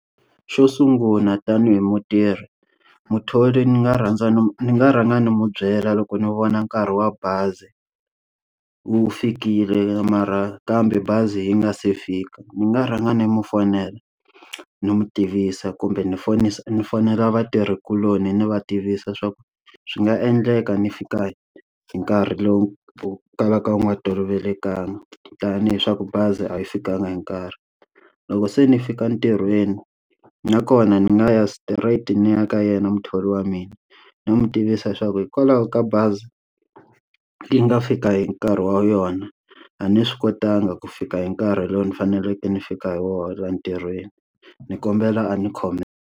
Xo sungula tanihi mutirhi, muthori ni nga rhandza ni ni nga rhanga ni n'wi byela loko ni vona nkarhi wa bazi wu fikile mara kambe bazi yi nga se fika. Ni nga rhanga ni n'wi fonela ni n'wi tivisa kumbe ni fonis ni fonela vatirhikuloni ndzi va tivisa swa ku swi nga endleka ni fika hi nkarhi lowu kalaka wu nga tolovelekangi. Tanihi swa ku bazi a yi fikanga hi nkarhi. Loko se ni fika ntirhweni nakona ni nga ya straight ni ya ka yena muthori wa mina, ni n'wi tivisa leswaku hikwalaho ka bazi yi nga fika hi nkarhi wa yona, a ni swi kotanga ku fika hi nkarhi lowu ni faneleke ni fika hi wona laha ntirhweni ni kombela a ni khomela.